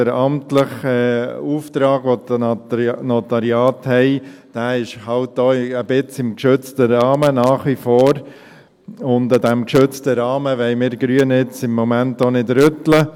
Der amtliche Auftrag, den die Notariate haben, ist halt nach wie vor auch ein wenig im geschützten Rahmen, und an diesem geschützten Rahmen wollen wir Grünen im Moment auch nicht rütteln.